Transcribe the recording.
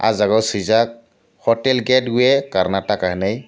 o jaga o suijak hotel gate way Karnataka henai.